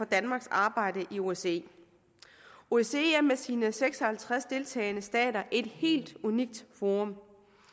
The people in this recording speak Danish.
danmarks arbejde i osce osce er med sine seks og halvtreds deltagende stater et helt unikt forum